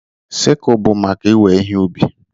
Sickle bụ maka iwe ihe ubi.